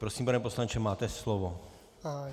Prosím, pane poslanče, máte slovo.